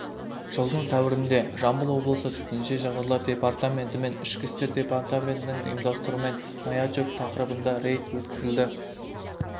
жылдың сәуірінде жамбыл облысы төтенше жағдайлар департаменті мен ішкі істер департаментінің ұйымдастыруымен маячок тақырыбында рейд өткізілді